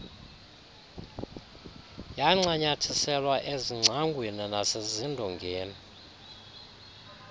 yancanyathiselwa ezingcangweni nasezindongeni